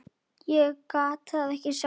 Ég gat það ekki sjálf.